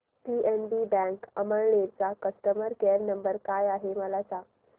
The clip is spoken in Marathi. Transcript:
पीएनबी बँक अमळनेर चा कस्टमर केयर नंबर काय आहे मला सांगा